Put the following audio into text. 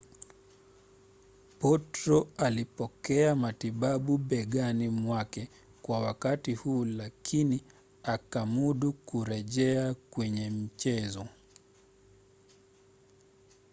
potro alipokea matibabu begani mwake kwa wakati huu lakini akamudu kurejea kwenye mchezo